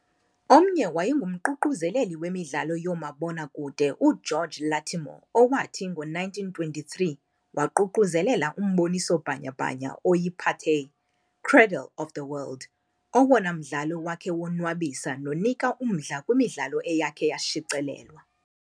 Omnye wayenguququzeleli wemidlalo yoomabonakude uGeorge Lattimore owathi ngo-1923 waququzelela umboniso bhanya-bhanya oyi-Pathé, "Cradle of the World", "owona mdlalo wakhe wonwabisa nonika umdla kwimidlalo eyakhe yashicilelwa".